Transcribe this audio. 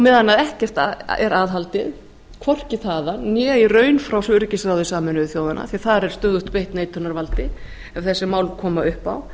meðan ekkert er aðhaldið hvorki þaðan né í raun frá öryggisráði sameinuðu þjóðanna því að þar er stöðugt beitt neitunarvaldi ef þessi mál koma upp á